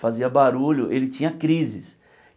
fazia barulho, ele tinha crises.